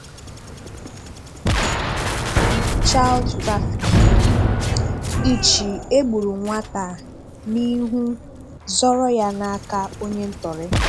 Child Trafficking: Ị̀chì ẹ̀gbùrù nwata a n’ihù zọrọ ya n’aka onye ntọrị.